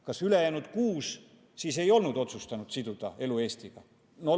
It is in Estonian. Kas ülejäänud kuus siis ei olnud otsustanud siduda oma elu Eestiga?